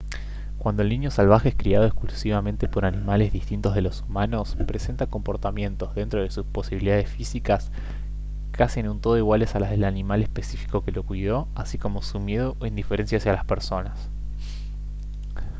cuando el niño salvaje es criado exclusivamente por animales distintos de los humanos presenta comportamientos dentro de sus posibilidades físicas casi en un todo iguales a las del animal específico que lo cuidó así como su miedo o indiferencia hacia las personas